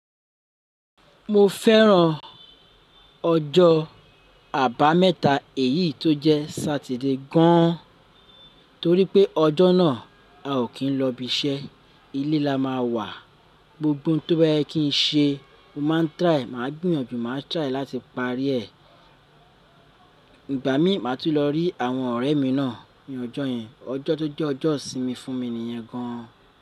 Mo fẹ́ràn ọjọ́ àbámẹ́ta èyí tó jẹ́ Sátidé gan an, torí pé ọjọ́ náà a ò kí n lọ ibi iṣẹ́, ilé la má a wà. Gbogbo ohun tó bá yẹ kí n ṣe, mo máa ń try, mà á gbìyànjú mà á try láti parí ẹ̀. Ìgba mi, màá tún lọ rí àwọn ọ̀rẹ́ mi náà ní ọjọ́ yẹn. Ọjọ́ tó jẹ́ ọjọ́ ìsinmi fún mi nìyẹn gan an.